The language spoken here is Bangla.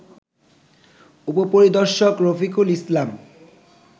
উপপরিদর্শক রফিকুল ইসলাম